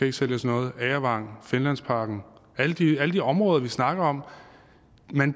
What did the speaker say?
ikke sælges noget agervang finlandsparken i alle de områder vi snakker om